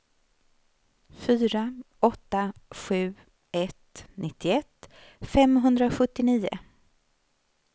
fyra åtta sju ett nittioett femhundrasjuttionio